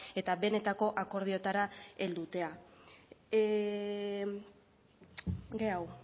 eta benetako akordiotara heltzea geroago a